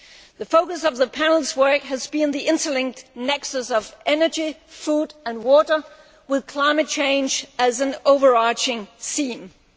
The focus of the Panel's work has been the interlinked nexus of energy, food and water, with climate change as an overarching theme.